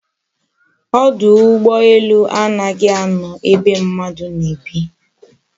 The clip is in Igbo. Odu ugboelu a naghi ano ebe mmadu na-ebi